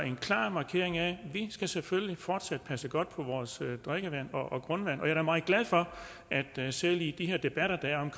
en klar markering af at vi selvfølgelig fortsat skal passe godt på vores drikkevand og grundvand og jeg er da meget glad for at selv i de debatter der er